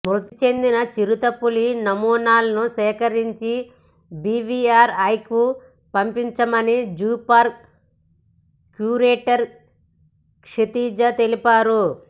మృతి చెందిన చిరుతపులి నమూనాలను సేకరించి బీవీఆర్ఐకు పంపించామని జూపార్కు క్యూరేటర్ క్షితిజా తెలిపారు